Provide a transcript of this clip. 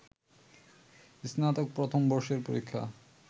স্নাতক প্রথম বর্ষের পরীক্ষা